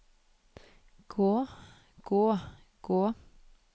gå gå gå